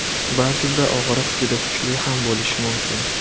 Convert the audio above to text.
Ba’zida og‘riq juda kuchli ham bo‘lishi mumkin.